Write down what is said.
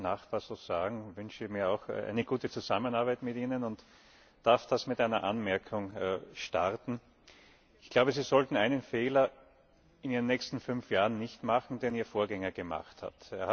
Ich darf das als Nachpassus sagen, dass ich mir auch eine gute Zusammenarbeit mit Ihnen wünsche und darf das mit einer Anmerkung starten Ich glaube, Sie sollten einen Fehler in Ihren nächsten fünf Jahren nicht machen, den Ihr Vorgänger gemacht hat.